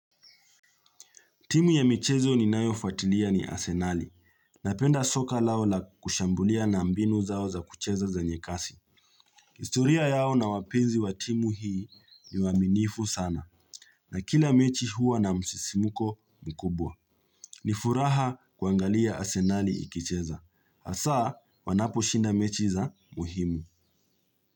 Timu ya michezo ni nayofuatilia ni asenali. Napenda soka lao la kushambulia na mbinu zao za kucheza zenye kasi. Historia yao na wapinzi wa timu hii ni waminifu sana. Na kila mechi huwa na msisimuko mkubwa. Nifuraha kuangalia asenali ikicheza. Asa wanapo shinda mechi za muhimu.